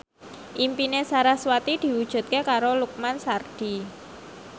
impine sarasvati diwujudke karo Lukman Sardi